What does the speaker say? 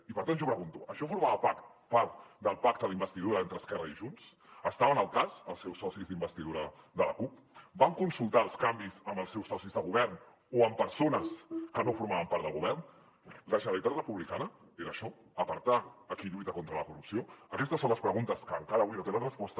i per tant jo pregunto això formava part del pacte d’investidura entre esquerra i junts n’estaven al cas els seus socis d’investidura de la cup van consultar els canvis amb els seus socis de govern o amb persones que no formaven part del govern la generalitat republicana era això apartar qui lluita contra la corrupció aquestes són les preguntes que encara avui no tenen resposta